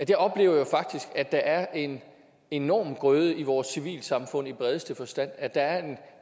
jeg oplever jo faktisk at der er en enorm grøde i vores civilsamfund i bredeste forstand at der er en